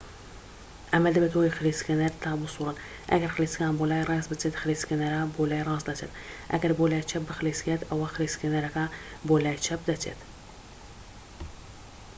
ئەمە دەبێتە هۆی خلیسکێنەر تا بسووڕێت ئەگەر خلیسکان بۆ لای ڕاست بچێت خلیسکێنەرە بۆ لای ڕاست دەچێت ئەگەر بۆ لای چەپ بخلیسکێت ئەوە خلیسکێنەرەکە بۆ لای چەپ دەچێت